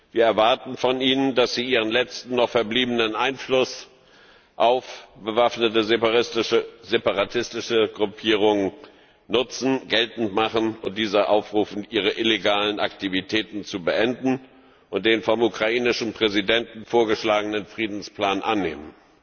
Wir erwarten von ihnen, dass sie ihren letzten noch verbliebenen Einfluss auf bewaffnete separatistische Gruppierungen nutzen, geltend machen und diese aufrufen, ihre illegalen Aktivitäten zu beenden und den vom ukrainischen Präsidenten vorgeschlagenen Friedensplan anzunehmen.